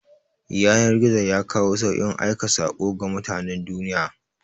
Yanar-gizo yakawo saukin aika sako ga mutanan duniya